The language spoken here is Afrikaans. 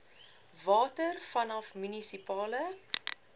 water vanaf munisipale